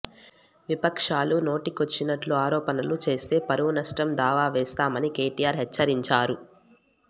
విపక్షాలు నోటికొచ్చినట్లు ఆరోపణలు చేస్తే పరువు నష్టం దావా వేస్తామని కేటీఆర్ హెచ్చరించారు